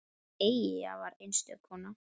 Eyja var einstök kona.